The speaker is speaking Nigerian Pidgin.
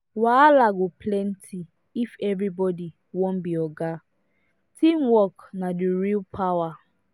wahala go plenty if everybody wan be oga teamwork na the real power